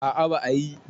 a a ba a yi